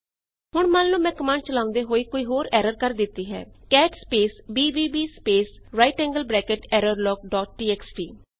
ਹੁਣ ਮੰਨ ਲਓ ਮੈਂ ਕਮਾਂਡ ਚਲਾਉਂਦੇ ਹੋਏ ਕੋਈ ਹੋਰ ਐਰਰ ਕਰ ਦਿੱਤੀ ਹੈ cat space b b b space 2 right angled bracket error log dot txt